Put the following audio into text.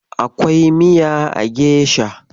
Akwai miya a gesha.